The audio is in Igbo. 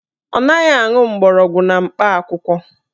Ọ naghị aṅụ mgbọrọgwụ na mkpa akwụkwọ